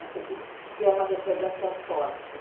Assim, que que é uma recordação forte.